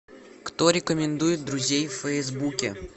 кто рекомендует друзей в фейсбуке